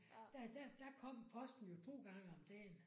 Der der kom posten jo 2 gange om dagen